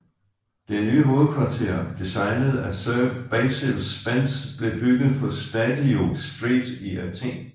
Det nye hovedkvarter designet af Sir Basil Spence blev bygget på Stadiou Street i Athen